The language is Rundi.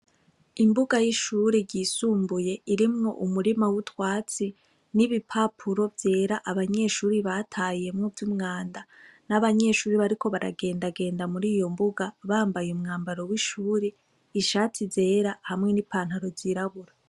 Imbuga y'ishuri ryisumbuye irimwo umurima w'utwatsi n'ibipapuro vyera abanyeshuri batayemwo vy'umwanda n'abanyeshuri bariko baragendagenda muri iyo mbuga bambaye umwambaro w'ishuri ishatsi zera hamwe n'ipantaro zirabura.